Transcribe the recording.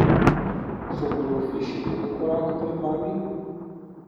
So goljufi še vedno korak pred vami?